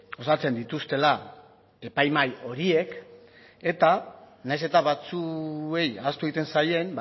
osatzen dituztela epaimahai horiek eta nahiz eta batzuei ahaztu egiten zaien